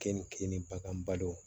Keninke keninge bakan balo